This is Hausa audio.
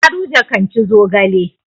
Garuje kan ci zogale.